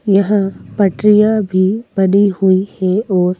यहाँ पटरियां भी बनी हुई हैं और--